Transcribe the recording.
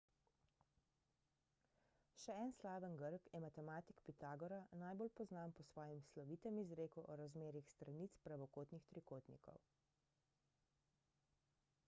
še en slaven grk je matematik pitagora najbolj poznan po svojem slovitem izreku o razmerjih stranic pravokotnih trikotnikov